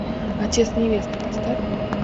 отец невесты поставь